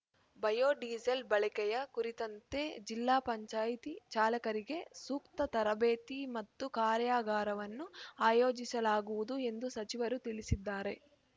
biodiesel ಬಳಕೆಯ ಕುರಿತಂತೆ ಜಿಲ್ಲಾ ಪಂಚಾಯತಿ ಚಾಲಕರಿಗೆ ಸೂಕ್ತ ತರಬೇತಿ ಮತ್ತು ಕಾರ್ಯಾಗಾರವನ್ನು ಆಯೋಜಿಸಲಾಗುವುದು ಎಂದು ಸಚಿವರು ತಿಳಿಸಿದ್ದಾರೆ